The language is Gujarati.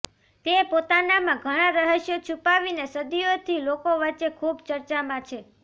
તે પોતાનામાં ઘણા રહસ્યો છુપાવીને સદિયોથી લોકો વચ્ચે ખુબ ચર્ચામાં છે